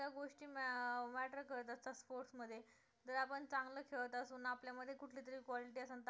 अं matter करत असते sports मध्ये जर आपण चांगलं खेळत असू आणि आपल्या मध्ये कुठली तरी quality असेल तर आपण